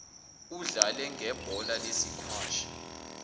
udlale ngebhola lesikwashi